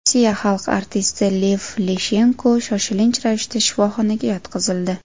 Rossiya xalq artisti Lev Leshenko shoshilinch ravishda shifoxonaga yotqizildi.